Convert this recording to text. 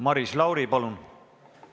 Maris Lauri, palun!